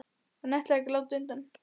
Hann ætlar ekki að láta undan.